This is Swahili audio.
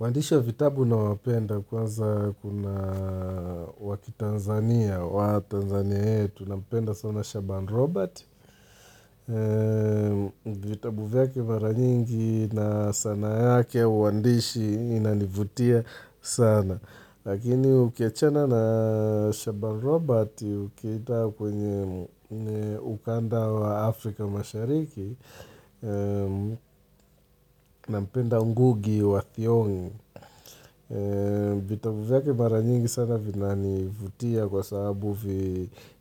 Waandishi wa vitabu na wapenda kwanza kuna wakitanzania wa Tanzania yetu nampenda sana Shaban robert. Vitabu vyake mara nyingi na sana yake wandishi inalivutia sana. Lakini ukichana na Shaban robert ukanda wa Afrika mashariki na mpenda ngugi wa thiongi. Vitabu yake mara nyingi sana vina nivutia kwa sababu